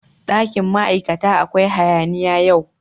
Dakin ma'aikata akwai hayaniya yau.